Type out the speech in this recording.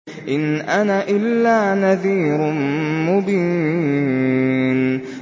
إِنْ أَنَا إِلَّا نَذِيرٌ مُّبِينٌ